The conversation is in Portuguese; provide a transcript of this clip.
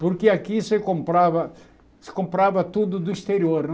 Porque aqui se comprava se comprava tudo do exterior, né?